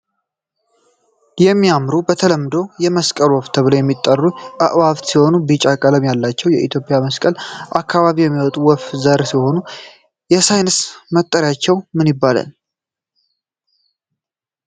የሚያምሩ በተለምዶ የ መስቀል ወፍ ተብለው የሚጠሩ አእዋፋት ሲሆኑ ቢጫ ቀለም ያላቸው ። በኢትዮጵያ በመስቀል አካባቢ የሚመጡ ወፍ ዘር ሲሆኑ። የሳይንስ መጠሪያቸው ምን ይባላል?